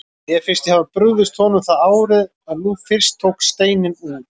Mér fannst ég hafa brugðist honum það árið, en nú fyrst tók steininn úr.